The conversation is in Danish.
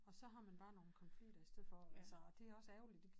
Og så har man bare nogen konflikter i stedet for og altså og det også ærgerligt